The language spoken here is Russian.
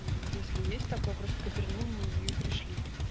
мм если есть такое просто коперни мне её и пришли